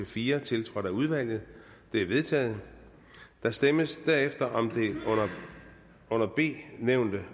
fire tiltrådt af udvalget de er vedtaget der stemmes derefter om det under b nævnte